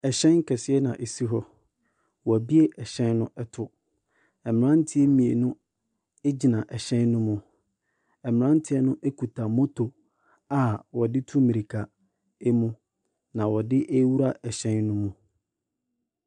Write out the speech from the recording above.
Hyɛn kɛseɛ na ɛsi hɔ. Wɔabue hyɛn no to. Mmeranteɛ mmienu gyina hyɛn no mu. Mmeranteɛ no kuta moto a wɔde ti mmirika mu na wɔde rewura hyɛn no mu.